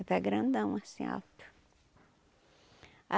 está grandão, assim, alto.